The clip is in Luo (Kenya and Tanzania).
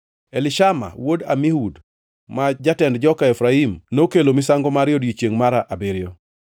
Elishama wuod Amihud, ma jatend joka Efraim nokelo misango mare e odiechiengʼ mar abiriyo.